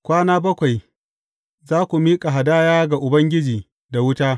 Kwana bakwai za ku miƙa hadaya ga Ubangiji da wuta.